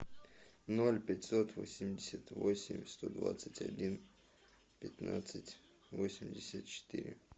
ноль пятьсот восемьдесят восемь сто двадцать один пятнадцать восемьдесят четыре